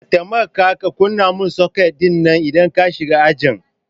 ka temaka ka kunna min soket dinnan idan ka shiga ajin